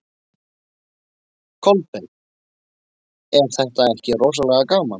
Kolbeinn: Er þetta ekki rosalega gaman?